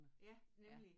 Ja nemlig